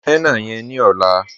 Nú henna yẹ̀n ní ọ̀là